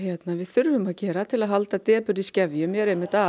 við þurfum að gera til að halda depurð í skefjum er að